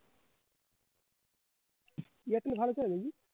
Airtel ভালো চলে